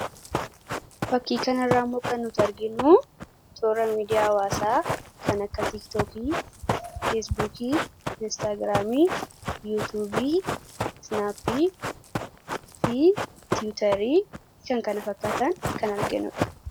fakkii kanarraamo kan nuti arginu toora miidiyaa hawaasaa kan akka tiiktookii, feesbukii, inistaagiraamii, yuutubi, siinaappi fi tiwutarii fi kan kana fakkaatan kan arginnuudha